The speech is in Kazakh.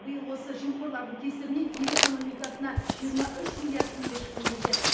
биыл осы жемқорлардың кесірінен ел экономикасына жиырма үш миллиард теңге шығын келген